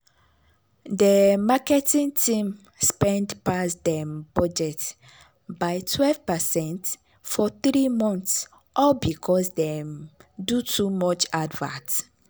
de marketing team spend pass dem budget by 12 percent for three months all because dem do too much advert.